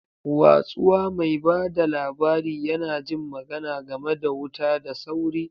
Watsuwa, mai ba da labari, yana jin magana game da wuta da sauri.